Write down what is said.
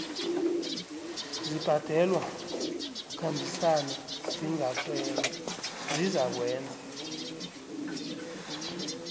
zibhalelwa kukhambisana zizakwenza